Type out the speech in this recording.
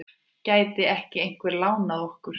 Gæti ekki einhver lánað okkur?